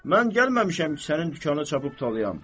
Mən gəlməmişəm ki, sənin dükanını çapıb talayam.